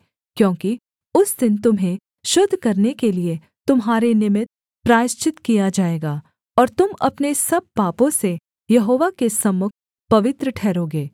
क्योंकि उस दिन तुम्हें शुद्ध करने के लिये तुम्हारे निमित्त प्रायश्चित किया जाएगा और तुम अपने सब पापों से यहोवा के सम्मुख पवित्र ठहरोगे